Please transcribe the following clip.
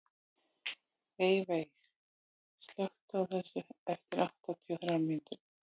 Eyveig, slökktu á þessu eftir áttatíu og þrjár mínútur.